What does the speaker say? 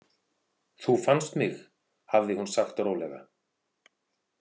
Þú fannst mig, hafði hún sagt rólega.